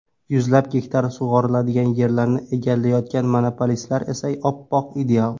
Yuzlab gektar sug‘oriladigan yerlarni egallayotgan monopolistlar esa oppoq, ideal.